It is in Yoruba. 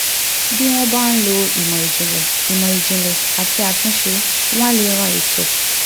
bí wọ́n bá ń lo ìmọ̀ ìjìnlẹ̀ ìmọ̀ ìjìnlẹ̀ àti àtúnṣe wọ́n á lè ran ètò